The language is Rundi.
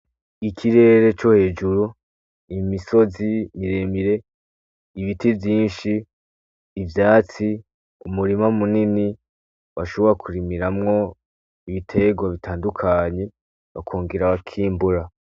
Ikirere co hejuru imisozi biremire ibiti vyinshi ivyatsi umurima munini washobora kurimiramwo ibitego bitandukanye bakongera bakimbura.